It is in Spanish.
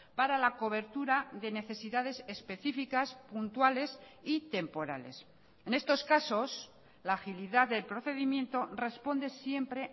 para la cobertura de necesidades específicas puntuales y temporales en estos casos la agilidad del procedimiento responde siempre